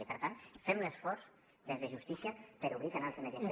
i per tant fem un esforç des de justícia per obrir canals de mediació